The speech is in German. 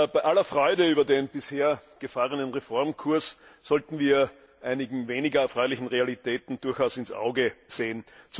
Bei aller Freude über den bisher gefahrenen Reformkurs sollten wir einigen weniger erfreulichen Realitäten durchaus ins Auge sehen.